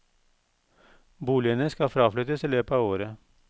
Boligene skal fraflyttes i løpet av året.